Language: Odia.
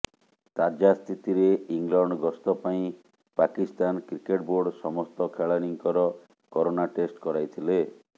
ତାଜା ସ୍ଥିତିରେ ଇଂଲଣ୍ଡ ଗସ୍ତ ପାଇଁ ପାକିସ୍ତାନ କ୍ରିକେଟ୍ ବୋର୍ଡ ସମସ୍ତ ଖେଳାଳିଙ୍କର କରୋନା ଟେଷ୍ଟ କରାଇଥିଲେ